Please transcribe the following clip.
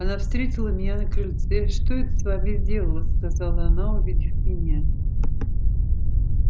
она встретила меня на крыльце что это с вами сделалось сказала она увидев меня